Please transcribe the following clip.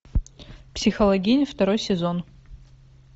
психологини второй сезон